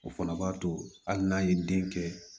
O fana b'a to hali n'a ye den kɛ